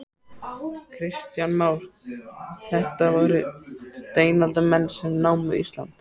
Kristján Már: Þetta voru steinaldarmenn sem námu Ísland?